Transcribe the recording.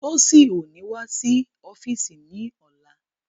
Tósìn ó ní wá sí ọ́físì ní ọ̀la